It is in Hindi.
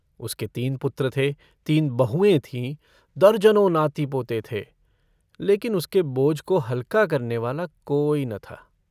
उसके तीन पुत्र थे, तीन बहुएँ थीं, दर्जनों नाती-पोते थे, लेकिन उसके बोझ को हलका करनेवाला कोई न था।